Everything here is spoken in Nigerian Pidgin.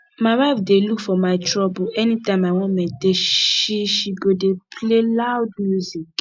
my wife dey look for my trouble any time i wan meditate she she go dey play loud music